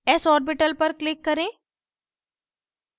s orbital पर click करें